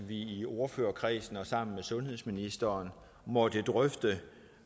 i ordførerkredsen og sammen med sundhedsministeren måtte drøfte